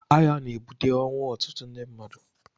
Agha na-ebute ọnwụ ọtụtụ ndị mmadụ.